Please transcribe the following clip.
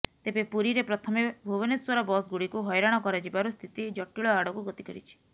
ତେବେ ପୁରୀରେ ପ୍ରଥମେ ଭୁବନେଶ୍ୱର ବସ୍ଗୁଡିକୁ ହଇରାଣ କରାଯିବାରୁ ସ୍ଥିତି ଜଟିଳ ଆଡକୁ ଗତି କରିଛି